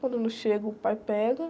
Quando eu não chego, o pai pega.